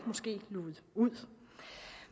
blevet luget ud